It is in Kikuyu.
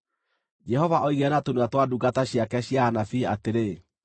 Jehova oigire na tũnua twa ndungata ciake cia anabii atĩrĩ: